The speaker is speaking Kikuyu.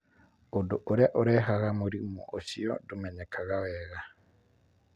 Ũndũ ũrĩa ũrehaga mũrimũ ũcio ndũmenyekaga wega.